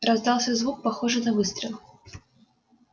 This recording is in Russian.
раздался звук похожий на выстрел